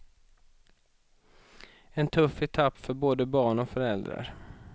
En tuff etapp för både barn och föräldrar.